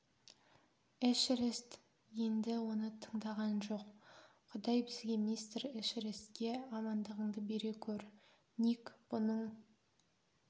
эшерест енді оны тыңдаған жоқ құдай бізге мистер эшерестке амандығыңды бере көр ник бұның